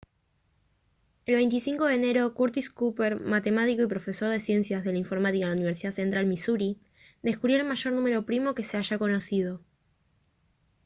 el 25 de enero curtis cooper matemático y profesor de ciencias de la informática en la universidad de central misuri descubrió el mayor número primo que se haya conocido